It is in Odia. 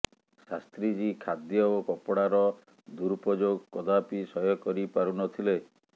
ଶାସ୍ତ୍ରୀଜୀ ଖାଦ୍ୟ ଓ କପଡ଼ାର ଦୁରୁପଯୋଗ କଦାପି ସହ୍ୟ କରି ପାରୁ ନ ଥିଲେ